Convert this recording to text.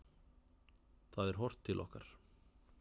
Það er horft til okkar.